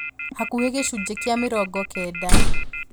Hakuhĩ gĩcunjĩ kĩa mĩrongo kenda